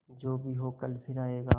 जो भी हो कल फिर आएगा